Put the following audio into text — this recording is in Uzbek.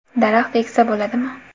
Daraxt eksa bo‘ladimi?